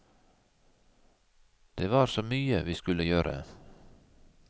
Det var så mye vi skulle gjøre.